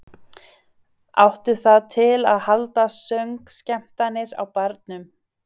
Áttu það til að halda söngskemmtanir á barnum.